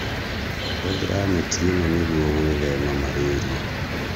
Hũthĩra neti ĩna nĩguo gwĩthema marĩria